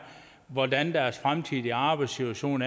hvordan deres fremtidige arbejdssituation